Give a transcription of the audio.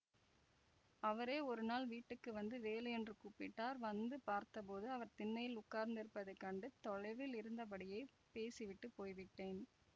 அவரே ஒருநாள் வீட்டுக்கு வந்து வேலு என்று கூப்பிட்டார் வந்து பார்த்தபோது அவர் திண்ணையில் உட்கார்ந்திருப்பதை கண்டு தொலைவில் இருந்தபடியே பேசிவிட்டுப் போய்விட்டேன்